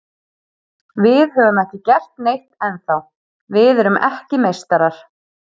Við höfum ekki gert neitt ennþá, við erum ekki meistarar.